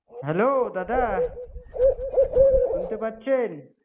Hello দাদা শুনতে পাচ্ছেন